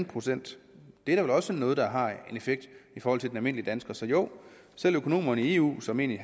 procent det er da vel også noget der har en effekt i forhold til den almindelige dansker så jo selv økonomerne i eu som egentlig